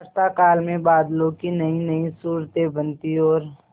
वर्षाकाल में बादलों की नयीनयी सूरतें बनती और